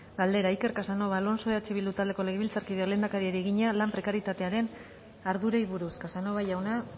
galdera iker casanova alonso eh bildu taldeko legebiltzarkideak lehendakariari egina lan prekarietatearen ardurei buruz casanova jauna